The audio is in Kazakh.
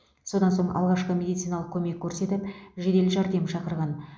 содан соң алғашқы медициналық көмек көрсетіп жедел жәрдем шақырған